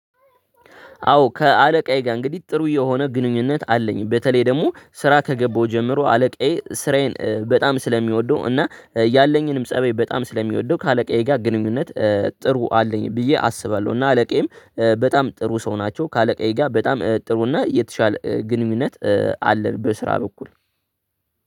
አዎ ከአለቃዬ ጋር እንግዲህ ጥሩ የሆነ ግንኙነት አለኝ። በተለይ ደግሞ ስራ ከገባሁ ጀምሮ አለቃዬ ስራዬን በጣም ስለሚወደው እና ያለኝንም ፀበይ በጣም ስለሚወደው ከአለቃዬ ጋር ግንኙነት ጥሩ አለኝ ብዬ አስባለሁ። እና አለቃዬም በጣም ጥሩ ሰው ናቸው ከአለቃዬ ጋር በጣም ጥሩ እና የተሻለ ግንኙነት አለ በስራ በኩል።